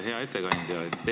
Hea ettekandja!